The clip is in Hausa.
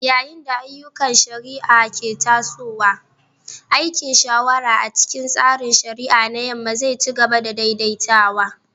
Yayin da ayyukan shari'a ke tasowa, aikin shawara a cikin tsarin shari'a na Yamma zai ci gaba da daidaitawa.